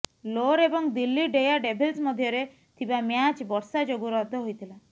ଲୋର ଏବଂ Delhi daredevils ମଧ୍ୟରେ ଥିବା ମ୍ୟାଚ ବର୍ଷା ଯୋଗୁ ରଦ୍ଦ ହୋଇଥିଲା